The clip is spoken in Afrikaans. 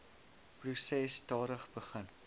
proses stadig begin